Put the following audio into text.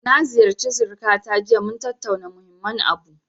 Na ziyarci sirikata jiya, mun tattauna muhimmin abu.